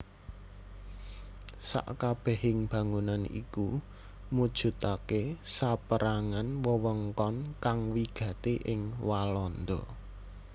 Sakabèhing bangunan iku mujudaké saperangan wewengkon kang wigati ing Walanda